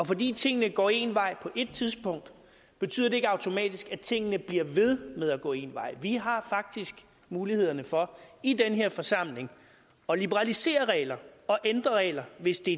fordi tingene går en vej på et tidspunkt betyder det ikke automatisk at tingene bliver ved med at gå en vej vi har faktisk mulighederne for i den her forsamling at liberalisere regler og ændre regler hvis det